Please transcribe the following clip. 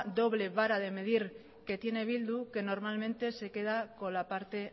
doble vara de medir que tiene bildu que normalmente se queda con la parte